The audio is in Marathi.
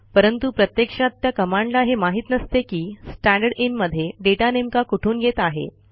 परंतु प्रत्यक्षात त्या कमांडला हे माहित नसते की स्टँडरदिन मध्ये डेटा नेमका कुठून येत आहे